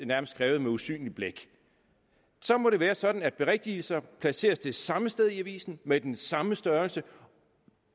nærmest skrevet med usynligt blæk så må det være sådan at berigtigelser placeres det samme sted i avisen med den samme størrelse